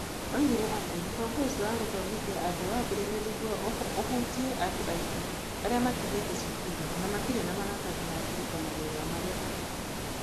Oigire atĩ mũbango ũcio wa kũthomithia andũ wambĩrĩirio nĩguo ũhutie andũ aingĩ arĩa matigĩĩte cukuru na matirĩ na maratathi ma kũruta mawĩra marĩa marutaga.